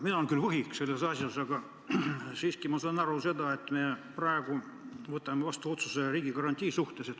Mina olen küll võhik selles asjas, aga ma siiski saan aru, et me praegu võtame vastu otsuse riigigarantii suhtes.